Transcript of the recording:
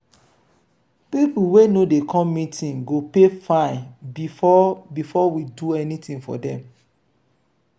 people wey no dey come meeting go pay fine before before we do anything for dem.